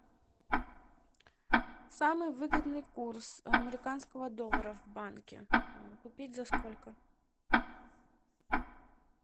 самый выгодный курс американского доллара в банке купить за сколько